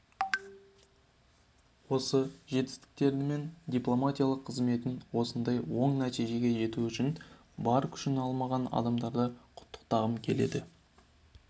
осы жетістіктерімен дипломатикалық қызметін осындай оң нәтижеге жету үшін бар күшін аямаған адамдарды құттықтағым келеді